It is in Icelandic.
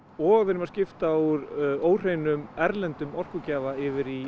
og við erum að skipta úr óhreinum erlendum orkugjafa yfir í